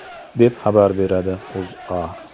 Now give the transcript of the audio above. deb xabar beradi O‘zA.